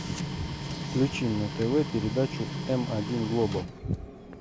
включи на тв передачу м один глобал